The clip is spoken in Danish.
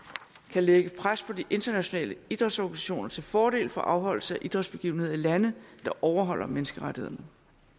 kan lægge pres på de internationale idrætsorganisationer til fordel for afholdelse af idrætsbegivenheder i lande der overholder menneskerettighederne